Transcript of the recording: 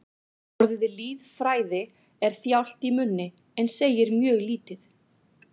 Orðið lýðfræði er þjált í munni en segir mjög lítið.